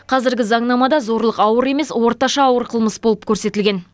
қазіргі заңнамада зорлық ауыр емес орташа ауыр қылмыс болып көрсетілген